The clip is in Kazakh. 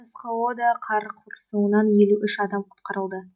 сқо да қар құрсауынан елу үш адам құтқарылды